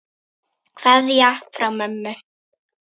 Kveðja frá mömmu.